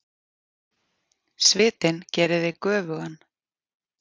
Svitinn gerir þig göfugan.